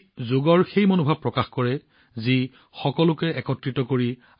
ই যোগৰ মনোভাৱ প্ৰকাশ কৰে যিয়ে সকলোকে একত্ৰিত কৰে